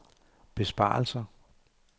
besparelser